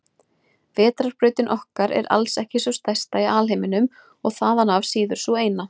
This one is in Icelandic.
Vetrarbrautin okkar er alls ekki sú stærsta í alheiminum og þaðan af síður sú eina.